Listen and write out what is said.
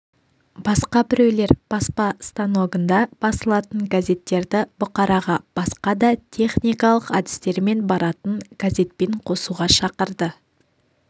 басқа біреулер баспа станогында басылатын газеттерді бұқараға басқа да техникалық әдістермен баратын газетпен қосуға шақырды